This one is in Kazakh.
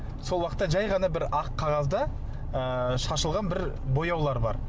сол уақытта жай ғана бір ақ қағазда ыыы шашылған бір бояулар бар